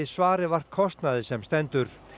svari vart kostnaði sem stendur